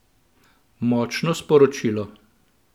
Močno sporočilo!